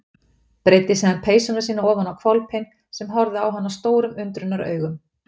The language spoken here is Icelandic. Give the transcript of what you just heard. Breiddi síðan peysuna sína ofan á hvolpinn sem horfði á hann stórum undrunaraugum.